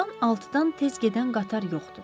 Burdan altıdan tez gedən qatar yoxdur.